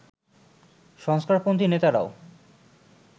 সংস্কারপন্থি নেতারাও